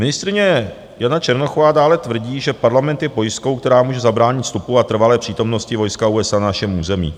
Ministryně Jana Černochová dále tvrdí, že Parlament je pojistkou, která může zabránit vstupu a trvalé přítomnosti vojska USA na našem území.